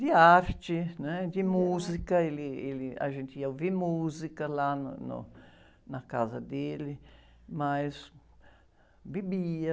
De arte, né? De música, ele, ele, a gente ia ouvir música lá no, no, na casa dele, mas... Bebia,